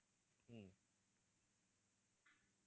ஹம்